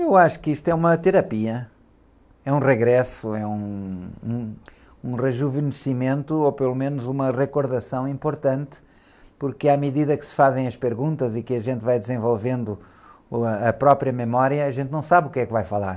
Eu acho que isto é uma terapia, é um regresso, é , um, um, um rejuvenescimento, ou pelo menos uma recordação importante, porque à medida que se fazem as perguntas e que a gente vai desenvolvendo, uh, a própria memória, a gente não sabe o que é que vai falar.